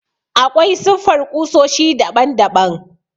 Aƙwai siffar ƙusoshi daɓan daɓan.